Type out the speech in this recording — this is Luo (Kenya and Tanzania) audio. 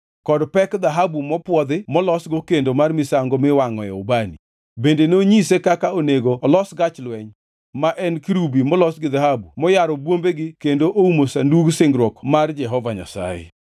kod pek dhahabu mopwodhi molosgo kendo mar misango miwangʼoe ubani. Bende nonyise kaka onego olos gach lweny, ma en kerubi molos gi dhahabu moyaro bwombegi kendo oumo Sandug Singruok mar Jehova Nyasaye.